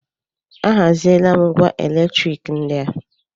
A haziela m ngwá elektrik ndị a.